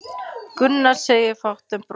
Gunnar segir fátt en brosir.